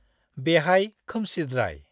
बेहाय खोमसिद्राय।